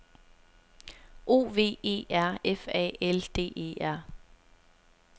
O V E R F A L D E R